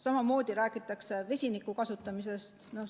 Samamoodi räägitakse vesiniku kasutamisest.